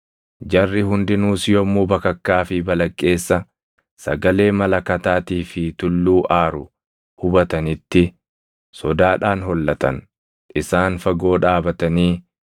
Jarri hundinuus yommuu bakakkaa fi balaqqeessa, sagalee malakataatii fi tulluu aaru hubatanitti sodaadhaan hollatan. Isaan fagoo dhaabatanii